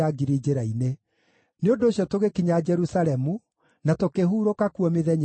Nĩ ũndũ ũcio tũgĩkinya Jerusalemu, na tũkĩhurũka kuo mĩthenya ĩtatũ.